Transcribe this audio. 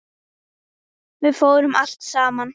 Við fórum allt saman.